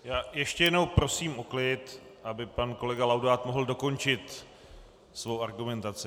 Já ještě jednou prosím o klid, aby pan kolega Laudát mohl dokončit svou argumentaci.